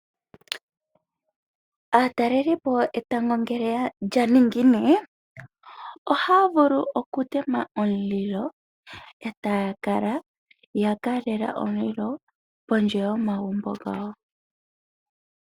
Aatalelipo etango ngele lyaningine, ohaya vulu okutema omulilo, e taya kala yakalela omulilo pondje yomagumbo gawo.